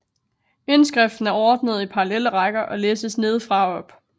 Indskriften er ordnet i parallelle rækker og læses nedefra og op